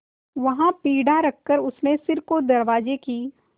वहाँ पीढ़ा रखकर उसने सिर को दरवाजे की